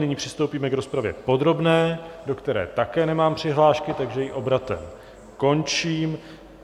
Nyní přistoupíme k rozpravě podrobné, do které také nemám přihlášky, takže ji obratem končím.